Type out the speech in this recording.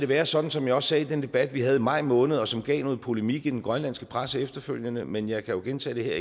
være sådan som jeg også sagde i den debat vi havde i maj måned og som gav noget polemik i den grønlandske presse efterfølgende men jeg kan jo gentage det